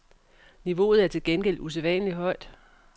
Niveauet er til gengæld usædvanlig højt.